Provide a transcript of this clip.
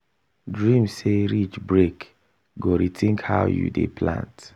dream say ridge break go rethink how you dey plant.